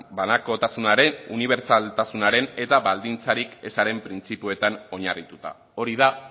banakotasunaren unibertsaltasunaren eta baldintzarik ezaren printzipioetan oinarrituta hori da